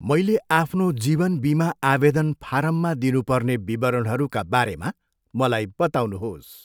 मैले आफ्नो जीवन बिमा आवेदन फारममा दिनु पर्ने विवरणहरूका बारेमा मलाई बताउनुहोस्।